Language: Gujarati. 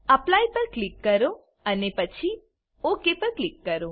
એપ્લાય પર ક્લિક કરો અને પછી ઓક પર ક્લિક કરો